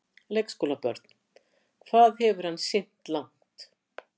Leikskólabörn: Hvað hefur hann synt langt?